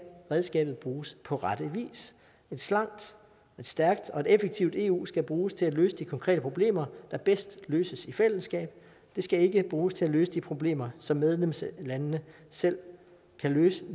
redskabet bruges på rette vis et slankt et stærkt og et effektivt eu skal bruges til at løse de konkrete problemer der bedst løses i fællesskab det skal ikke bruges til at løse de problemer som medlemslandene selv kan løse